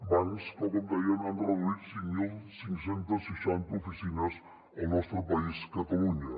bancs que com dèiem han reduït cinc mil cinc cents i seixanta oficines al nostre país catalunya